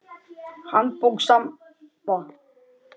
Handbók Samba.